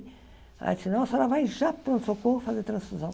Ela disse, não, a senhora vai já para o pronto-socorro fazer transfusão.